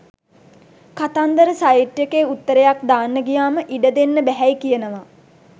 කතන්දර සයිට් එකේ උත්තරයක් දාන්න ගියාම ඉඩ දෙන්න බැහැයි කියනවා